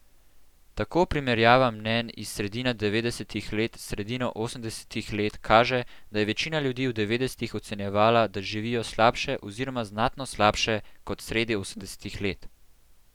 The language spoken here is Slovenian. Tako primerjava mnenj iz sredine devetdesetih let s sredino osemdesetih let kaže, da je večina ljudi v devetdesetih ocenjevala, da živijo slabše oziroma znatno slabše kot sredi osemdesetih let.